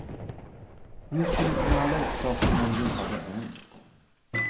Hon skulle kunna låtsas som om det inte hade hänt.